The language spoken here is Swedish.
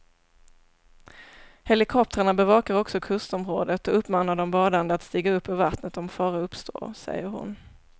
Helikoptrarna bevakar också kustområdet och uppmanar de badande att stiga upp ur vattnet om fara uppstår, säger hon.